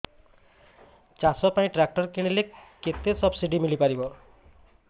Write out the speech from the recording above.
ଚାଷ ପାଇଁ ଟ୍ରାକ୍ଟର କିଣିଲେ କେତେ ସବ୍ସିଡି ମିଳିପାରିବ